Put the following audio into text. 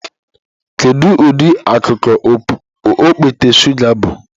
Kedu ụdị akụkụ okpete shụga bụ?